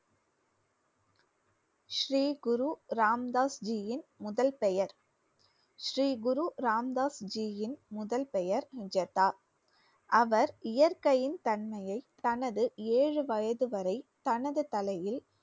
ஸ்ரீ குரு ராம் தாஸ்ஜியின் முதல் பெயர் ஸ்ரீ குரு ராம் தாஸ்ஜியின் முதல் பெயர் ஜதா. அவர் இயற்கையின் தன்மையை தனது ஏழு வயது வரை தனது தலையில்